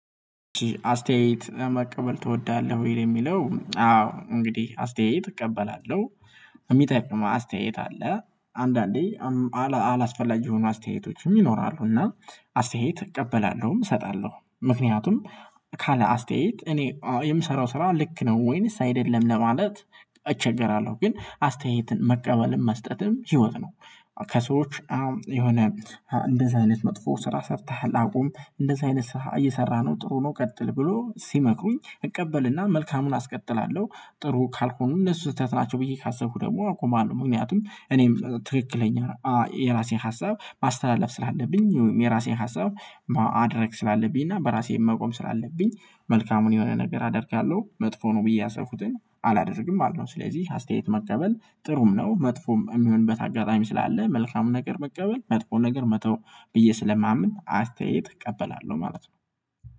አስተያየት መቀበል ትወዳለህ ወይ? የሚለው አዎ እንግዲህ አስተያየት እቀበላለሁ የሚጠቅም አስተያየት አለ አንዳንዴ አላስፈላጊ የሆኑ አስተያየቶችም ይኖራሉ እና አስተያየት እቀበላለሁ እሰጣለሁ ምክንያቱም ካለ አስተያየት እኔ የምሰራው ስራ ልክ ነው ወይንስ አይደለም ለማለት እቸገራለሁ ግን አስተያየትን መቀበልም መስጠትም ህይወት ነው ከሰዎች የሆነ እንደዚህ አይነት መጥፎ ስራ ሰርተሃል አቁም እንደዚህ አይነት ስራ እየሰራ ነው ጥሩ ነው ቀጥል ብሎ ሲመክሩኝ እቀበልና መልካሙን አስቀጥላለሁ ጥሩ ካልሆኑ እነሱ ስህተት ናቸው ብዬ ካሰብኩ ደግሞ አቆማለሁ ምክንያቱም እኔም ትክክለኛ የራሴን ሀሳብ ማስተላለፍ ስላለብኝ የራሴን ሀሳብ ማድርግ ስላለብኝ እና በራሴ መቆም ስላለብኝ መልካሙን የሆነ ነገር አደርጋለሁ መጥፎ ነው ብዬ ያሰብኩትን አላደርግም ማለት ነው ስለዚህ አስተያየት መቀበል ጥሩም ነው መጥፎም የሚሆንበት አጋጣሚ ስላለ መልካሙን ነገር መቀበል መጥፎ ነገር መተው ብዬ ስለማምን አስተያየት እቀበላለሁ ማለት ነው